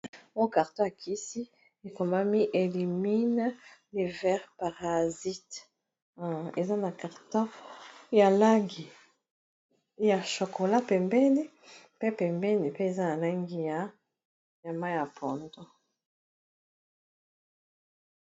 Oyo carton ya kisi ekomami elimine levere parasite eza na carton ya langi ya chokola pembeni pe pembeni pe eza na langi ya mayi ya pondu.